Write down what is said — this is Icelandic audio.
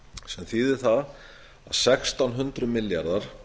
sem þýðir það að sextán hundruð milljarðar